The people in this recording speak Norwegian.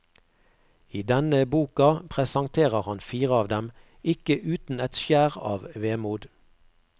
I denne boka presenterer han fire av dem, ikke uten et skjær av vemod.